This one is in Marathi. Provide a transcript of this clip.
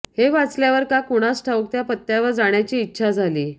हे वाचल्यावर का कुणास ठाऊक त्या पत्त्यावर जाण्याची इच्छा झाली